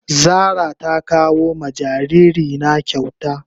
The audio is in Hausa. Zara ta kawo ma jariri na kyauta.